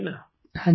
प्रेम जी हाँ जी